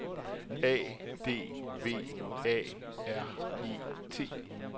A D V A R E T